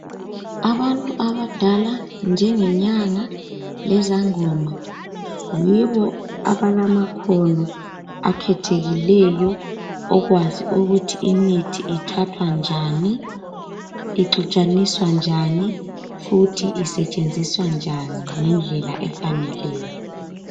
Abantu abadala njengenyanga lezangoma yibo abalamakhono akhethekileyo okwazi ukuthi imithi ithathwa njani. Ixutshaniswa njani futhi isetshenziswa njani ngendlela efaneleyo.